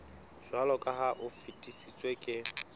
jwaloka ha o fetisitswe le